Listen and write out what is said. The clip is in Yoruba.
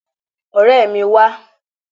Ọ̀rẹ́ mi, wá!